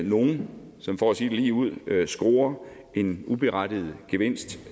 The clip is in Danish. nogle som for at sige det lige ud scorer en uberettiget gevinst